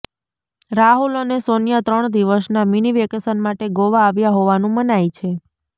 રાહુલ અને સોનિયા ત્રણ દિવસના મિની વેકેશન માટે ગોવા આવ્યા હોવાનુ મનાય છે